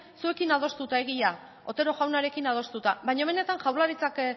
zuekin adostuta egia otero jaunarekin adostuta baina benetan jaurlaritzak